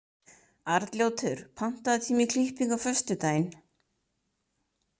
Arnljótur, pantaðu tíma í klippingu á föstudaginn.